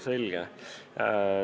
Selge.